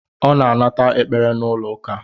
Ọ na-anata ekpere n'ụlọ uka